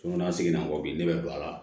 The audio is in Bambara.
N'a seginna kɔ ne bɛ don a la